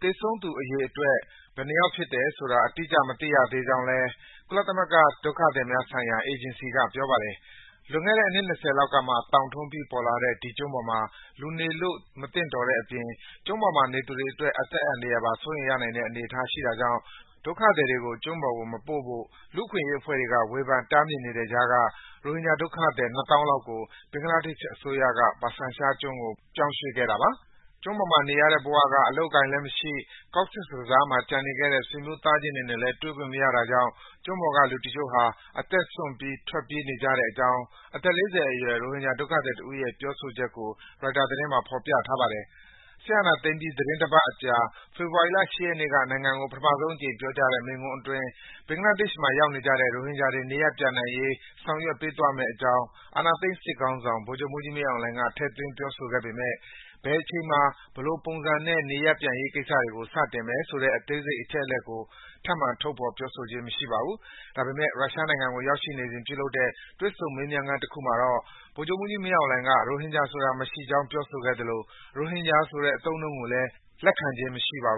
၊ သေဆုံးသူအရေအတွက် ဘယ်နှစ်ယောက်ဖြစ်တယ်ဆိုတာတော့ အတိအကျ မသိရသေးကြောင်း ကုလသမဂ္ဂ ဒုက္ခသည်များဆိုင်ရာ အေဂျင်စီက ပြောပါတယ်။ လွန်ခဲ့တဲ့ အနှစ် ၂၀ လောက်ကမှ သောင်ထွန်းပြီး ပေါ်လာတဲ့ ဒီကျွန်းပေါ်မှာ လူနေဖို့ မသင့်တော်တဲ့အပြင် ကျွန်းပေါ်နေသူတွေအတွက် အသက်အန္တရာယ်ပါ စိုးရိမ်ရနိုင်တဲ့အနေအထားရှိတာကြောင့် ဒုက္ခသည်တွေကို ကျွန်းပေါ်မပို့ဖို့ လူ့အခွင့်အရေးအဖွဲ့တွေက ဝေဖန် တားမြစ်နေတဲ့ကြားက ရိုဟင်ဂျာ ဒုက္ခသည် နှစ်သောင်းလောက်ကို ဘင်္ဂလားဒေ့ရှ်အစိုးရက ဘာဆန်ချာကျွန်းကို ပြောင်းရွှေ့ခဲ့တာပါ။ ကျွန်းပေါ်မှာ နေရတဲ့ဘဝက အလုပ်အကိုင်လည်းမရှိ၊ Cox’s Bazar မှာကျန်နေခဲ့တဲ့ ဆွေမျိုးသားချင်းတွေနဲ့လည်း တွေ့ခွင့်မရတာကြောင့် ကျွန်းပေါ်ကလူတချို့ဟာ အသက်စွန့်ပြီး ထွက်ပြေးနေကြတဲ့အကြောင်း အသက် ၄၀ အရွယ် ရိုဟင်ဂျာဒုက္ခသည်တဦးရဲ့ ပြောဆိုချက်ကို ရိုက်တာသတင်းမှာ ဖော်ပြထားပါတယ်။ စစ်အာဏာသိမ်းပြီး သီတင်းတပတ်အကြာ ဖေဖော်ဝါရီ ၈ ရက်နေ့က နိုင်ငံကို ပထမဆုံးအကြိမ်ပြောကြားတဲ့ မိန့်ခွန်းအတွင်း ဘင်္ဂလားဒေ့ရှ်ဘက်ရောက်နေကြတဲ့ ရိုဟင်ဂျာတွေ နေရပ်ပြန်နိုင်ရေး ဆောင်ရွက်သွားမယ့်အကြောင်း အာဏာသိမ်းစစ်ခေါင်းဆောင် ဗိုလ်ချုပ်မှူးကြီး မင်းအောင်လှိုင်က ထည့်သွင်း ပြောဆိုခဲ့ပေမယ့် ဘယ်အချိန်မှာ ဘယ်လိုပုံနဲ့ နေရပ်ပြန်ရေးကိစ္စတွေကို စတင်မယ်ဆိုတဲ့ အသေးစိတ်အချက်လက်ကို ထပ်မံ ထုတ်ဖော် ပြောဆိုခြင်း မရှိပါဘူး။ ဒါပေမယ့် ရုရှားနိုင်ငံကိုရောက်နေစဉ် ပြုလုပ်တဲ့ တွေ့ဆုံ မေးမြန်းခန်းတခုမှာတော့ ဗိုလ်ချုပ်မှူးကြီး မင်းအောင်လှိုင်က ရိုဟင်ဂျာဆိုတာ မရှိကြောင် ပြောဆိုခဲ့သလို ရိုဟင်ဂျာဆိုတဲ့ အသုံးအနှုန်းကိုလည်း လက်ခံခြင်း မရှိပါဘူး